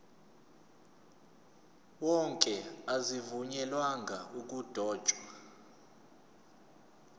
wonke azivunyelwanga ukudotshwa